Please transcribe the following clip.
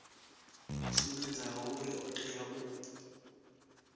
sumbedzaho uri o tea u